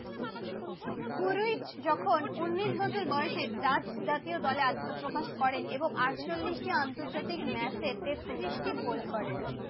যখন উনিশ বছর বয়সে দাচ খেলায় অংশগ্রহণ করে জাতীয় দলে আত্মপ্রকাশ করে এবং আটচল্লিশটি টি আন্তর্জাতিক ম্যাচে তেত্রিশটি টি গোল করেন